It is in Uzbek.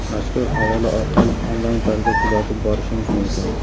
Mazkur havola orqali onlayn tarzda kuzatib borishingiz mumkin.